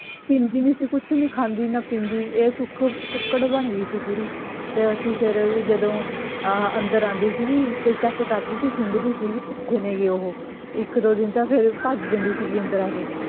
ਹਿਲਦੀ ਨੀ ਸੀ ਕੁੱਛ ਨੀ ਖਾਂਦੀ ਨਾ ਪੀਂਦੀ ਇਹ ਸੁੱਕ ਕੁੱਕੜ ਬਣ ਗਈ ਸੀ ਪੂਰੀ ਤੇ ਅਸੀਂ ਫੇਰ ਜਦੋਂ ਆਹਾ ਅੰਦਰ ਆਂਦੀ ਸੀਗੀ ਤੇ check ਕਰਦੀ ਸੀ ਸੁੰਘਦੀ ਸੀ ਵੀ ਕਿਥੇ ਨੇ ਓਹੋ ਇੱਕ ਦੋ ਦਿਨ ਤਾਂ ਫੇਰ ਭੱਜ ਜਾਂਦੀ ਸੀ ਅੰਦਰ ਆ ਕੇ